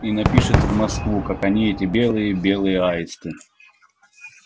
и напишет в москву какие они эти белые белые аисты